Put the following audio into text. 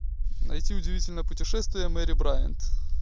найди удивительное путешествие мэри брайант